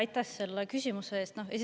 Aitäh selle küsimuse eest!